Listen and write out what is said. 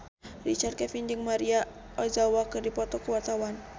Richard Kevin jeung Maria Ozawa keur dipoto ku wartawan